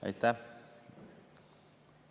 Aitäh!